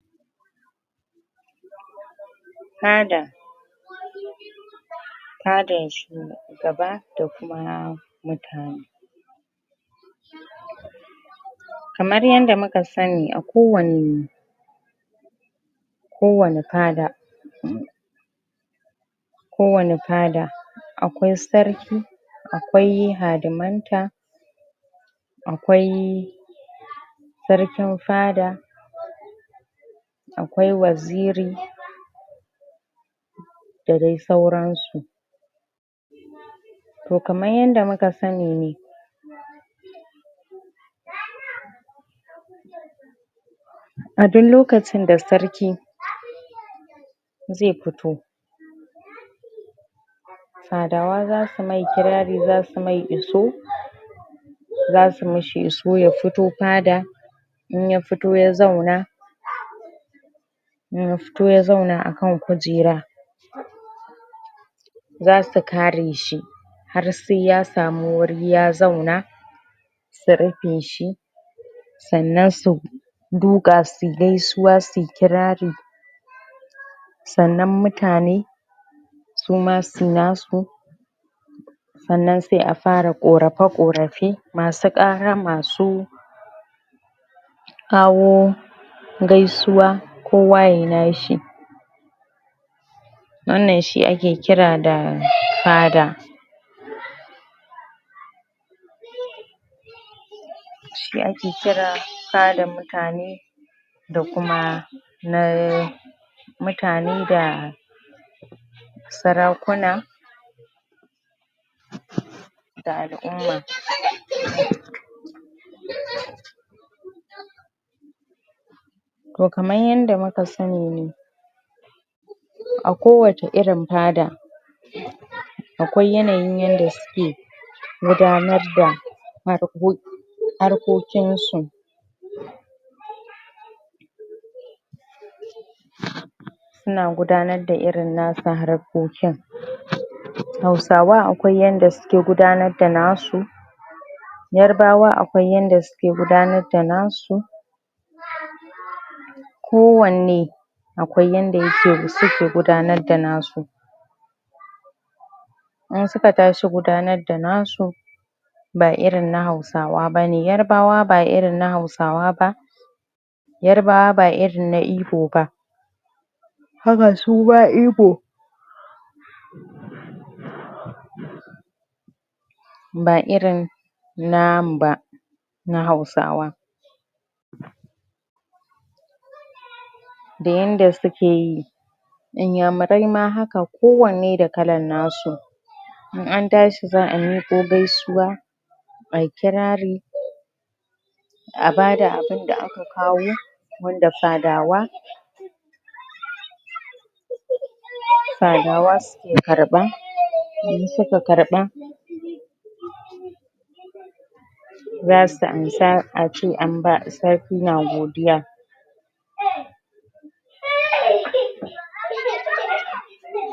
fada fada shu shugaba dakuma mutane kamar yanda muka sani akowani kowani fada kowani fada akwai sarki akwai hadimanta akwai sarkin fada akwai Waziri da dai sauransu to kamar yanda muka sanine aduk lokacin da sarki zai fito fadawa zasu mai kirari zasu mai iso zasu mai iso ya fito fada in yafito ya zauna in yafito ya zauna akan kujera zasu kareshi harsai ya samu wuri ya zauna su rufeshi sannan su duka suyi gaisuwa suyi kirari sannan mutane suma suyi nasu sannan sai a fara korafe korafe masu kara masu kawo gaisuwa kowa yayi nashi wannan shi ake kira da fada shi ake kira fadan mutane da kuma mutane dah sarakuna da alumma to kaman yanda muka sanine akowace irin fada akwai yanayin yanda suke gudanarda harko harkokinsu suna gudanarda irin nasu harkokin hausawa akwai yanda suke gudanarda nasu yarbawa akwai yanda suke gudanarda nasu kowane akwai yanda suke gudanarda nasu in suka tashi gudanarda nasu ba irin na hausawa bane yarbawa ba irin na hausawa ba yarbawa ba irin na ibo ba haka suma ibo ba irin namu ba na hausawa da yanda suke yi inyamurai ma haka kowanne da kallan nasu in antashi zaayi miko gaisuwa ayi kirari abada abinda aka kawo wanda fadawa fadawa su suke karba in suka karba yah zasu ansa ace an ba sarki na godiya ah